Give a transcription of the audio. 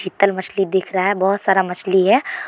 मछली दिख रहा है बहुत सारा मछली है।